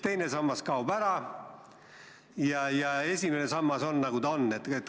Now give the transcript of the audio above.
Teine sammas kaob ära ja esimene sammas on, nagu ta on.